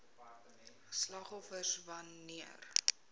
slagoffers wan neer